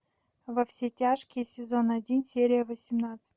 во все тяжкие сезон один серия восемнадцать